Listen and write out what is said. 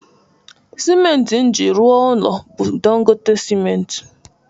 Simenti m ji rụọ ụnọ bụ Dangote simenti.